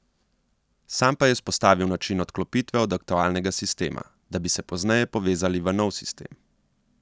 Sam pa je izpostavil način odklopitve od aktualnega sistema, da bi se pozneje povezali v nov sistem.